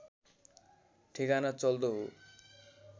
ठेगाना चल्दो हो